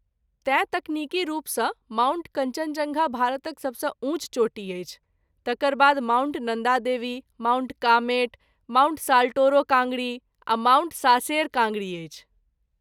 तेँ तकनीकी रूपसँ माउंट कञ्चनजङ्घा भारतक सबसँ ऊँच चोटी अछि, तकर बाद माउंट नन्दा देवी, माउंट कामेट, माउंट.साल्टोरो काङ्गरी आ माउंट सासेर काङ्गरी अछि।